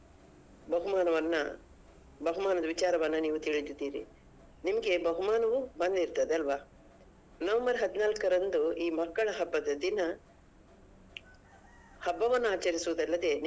ಬಹುಮಾನವನ್ನ ಬಹುಮಾನದ ವಿಚಾರವನ್ನ ನೀವು ತಿಳಿದಿದ್ದೀರಿ ನಿಮ್ಗೆ ಬಹುಮಾನವು ಬಂದಿರ್ತದೆ ಅಲ್ವಾ November ಹದಿನಾಲ್ಕರಂದು ಈ ಮಕ್ಕಳ ಹಬ್ಬದ ದಿನ ಹಬ್ಬನನ್ನು ಆಚರಿಸುದಲ್ಲದೆ.